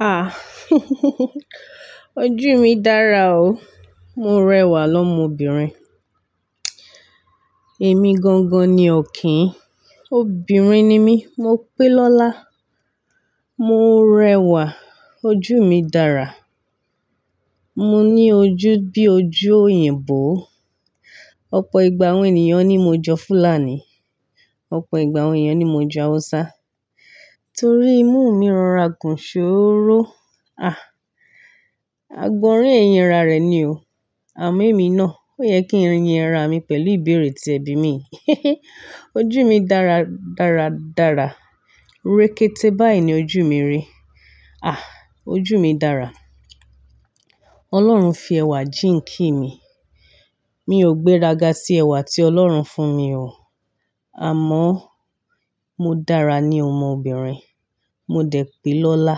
Ah. Ojú mi dára o. Mo rẹwà lọ́mọbìnrin. Èmi gangan ni ọ̀kín, obìnrin ni mí, mo pé lọ́lá. Mo rẹwà, ojú mi dára. Mo ní ojú bí ojú òyìnbó. Ọ̀pọ̀ ìgbà àwọn ènìyàn ní mo jọ Fúlàní, ọ̀pọ̀ ìgbà àwọn èyàn ní mo jọ Hausa, torí imú mi rọra gùn ṣóró. Ah, àgbọ̀nrín ẹ̀yínra rẹ̀ ni o. Àmọ́ èmi náà, ó yẹ kí ń yin ara mi pẹ̀lú ìbéèrè tí ẹbí mi. Ojú mi dára, dára, dára. Rékété báyìí ni ojú mi rí. Ah, ojú mi dára. Ọlọ́run fi ẹwà jíǹkì mi. Mi ò gbéraga sí ẹwà tí Ọlọ́run fún mi o. Àmọ́ mo dára ní ọmọbìnrin, mo dẹ̀ pé lọ́lá.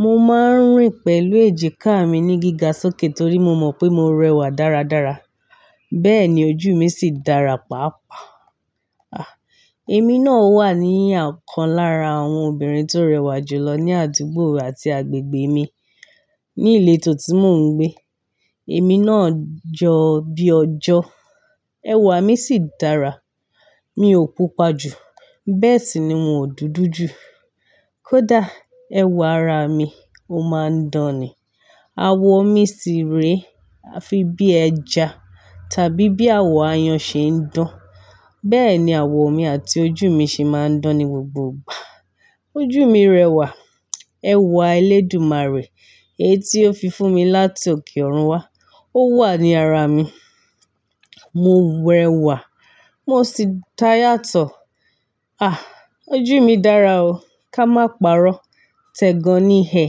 Mo máa ń rìn pẹ̀lú èjìká mi ní gíga sókè torí mo mọ̀ pé mo rẹwà dáradára, bẹ́ẹ̀ ni ojú mi sì dára pàápàá. Ah, èmi náà wà ní ọ̀kan lára àwọn obìnrin tó rẹwà jùlọ ní àdúgbò àti agbègbè mi ní ilétò tí mò ń gbé. Èmi náà jọ bí ọjọ́, ẹwà mi sì dára. Mi ò pupa ju, bẹ́ẹ̀ sì ni moò dúdú ju. Kódà ẹwà ara mi ó máa ń dán ni. Awọ̀ mi sì rèe afi bí ẹja tàbí bí àwọ̀ aáyán ṣe ń dán. Bẹ́ẹ̀ ni àwọ̀ mi àti ojú mi ṣe máa ń dán ní gbogbo ìgbà. Ojú mi rẹwà, ẹwà ẹlẹ́dùmarẹ̀ èyí tí ó fi fún mi láti òkè òrun wá, ó wà ní ara mi. Mo rẹwà, mo sì da yàtọ̀. Ah, ojú mi dára o, ká má parọ́. T'ẹgan ní ẹ.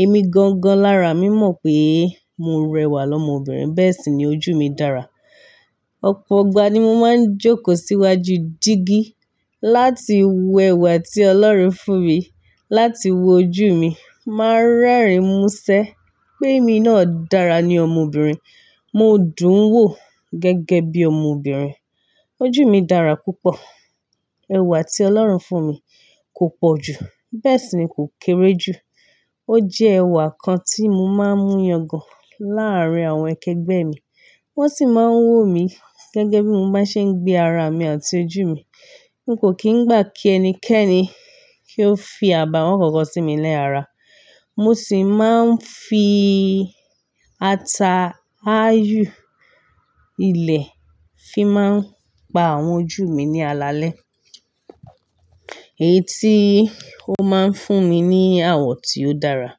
Èmi gangan lára mi mọ̀ pé mo rẹwà lọ́mọbìnrin, bẹ́ẹ̀ sì ni ojú mi dára. Ọ̀pọ̀ igbà ni mo máa ń jókòó síwájú jígí láti wọ ẹwà tí Ọlọ́run fún mi, láti wo ojú mi. Máa ń rẹ́rìn músẹ́ pé èmi náà dára ní ọmọbìnrin. Mo dùn-un wò gẹ́gẹ́ bí ọmọbìnrin. Ojú mi dára púpọ̀. Ewà tí Ọlọ́run fún mi kò pọ̀ ju, bẹ́ẹ̀ sì ni kò kéré ju. Ó jẹ́ ẹwà kan tí mo máa ń mú yangàn láàárín àwọn akẹgbẹ́ mi. Wọ́n sì máa ń wò mí gẹ́gẹ́ bí mo bá ṣe ń gbé ara mi àti ojú mi. N kò kì í gbà kí ẹnikẹ́ni kí ó fi àbàwọ́n kankan sí mi lẹ́ ara. Mo sì máa ń fi ata áyù ilẹ̀ fi máa ń pa àwọn ojú mi ní alalẹ́. Èyí tí ó máa ń fún mi ní àwọ̀ tí ó dára.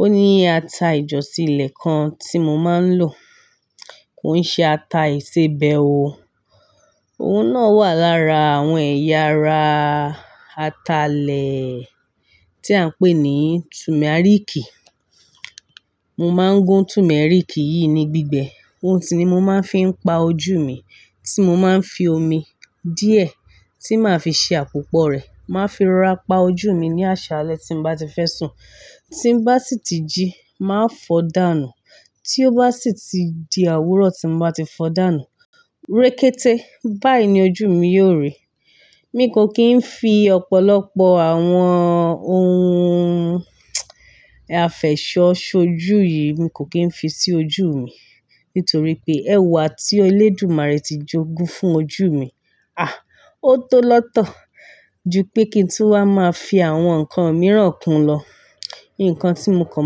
Ó ní ata ìjọ̀sì ilẹ̀ kan tí mo máa ń lò. Kò ṣe ata ìsebẹ́ o. Ohun náà wà lára àwọn ẹ̀yà ara ata ilẹ̀ tí à ń pè ní tùmẹ́ríkì. Mo máa ń gún tùmẹ́ríkì yìí ní gbígbẹ. Ohun si ni mo máa ń fi pa ojú mi tí mo máa ń fi omi díẹ̀ tí màá fi ṣe àpòpọ̀ rẹ̀, màá fi rora pa ojú mi ní àṣálẹ́ tí n bá ti fẹ́ sùn. Tí ń bá sì ti jí, màá fọ̀ọ́ dànù. Tí ó bá sì ti di àwúrọ̀ tí ń bá ti fọ̀ọ́ dànù, rékété báyìí ni ojú mi yóò rí. Mi kò kì í fi ọ̀pọ̀lọpọ̀ àwọn ohun àfẹ́sọ sọju yìí, mi kò kì í fi sí ojú mi nítorí pé ẹwà tí elẹ́dùmarẹ̀ ti jogún fún ojú mi, ah, ó tó lọ́tọ̀ ju pé kí n tú wá máa fi àwọn nǹkan mìíràn kún lọ. Nǹkan tí mo kàn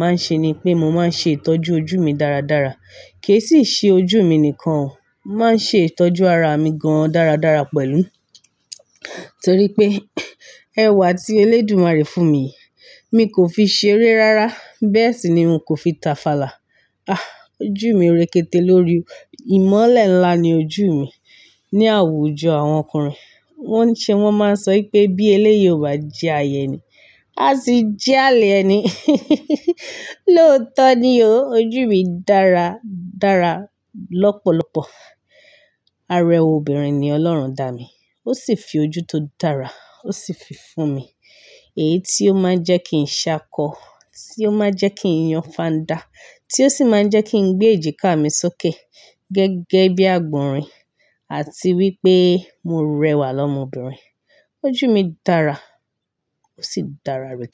máa ń ṣe ni pé mo máa ń ṣe ìtọ́jú ojú mi dáradára. Ke e sì ṣe ojú mi nìkan o, màá ń ṣe ìtọ́jú ara mi gan-an dáradára pẹ̀lú. Torí pé ẹwà tí elẹ́dùmarẹ̀ fún mi yìí, mi kò fi ṣe eré rárá, bẹ́ẹ̀ sì ni mi kò fi ta fàlà. Ah, ojú mi rékété lórí. Ìmọ́lẹ̀ ńlá ni ojú mi ní àwùjọ àwọn ọkùnrin. Wọ́n ń ṣe, wọ́n máa ń sọ pé bí ẹlẹ́yi ọ̀ bà jẹ àya èni, a sì jẹ́ àlè ẹni. Lóòótọ́ ni o. Ojú mi dára, dára lọ́pọ̀lọpọ̀. Arẹ́ obìnrin ni Ọlọ́run dà mi. Ó sì fi ojú tó dára, ó sì fi fún mi. Èyí tí ó máa ń jẹ́ kí n ṣákọ, tí ó máa ń jẹ́ kí n yan fandá, tí ó sì máa ń jẹ́ kí n gbé èjìká mi sókè gẹ́gẹ́ bí àgbọ̀nrín àti wípé mo rẹwà lọ́mọbìnrin. Ojú mi dára, ó sì dára rékété.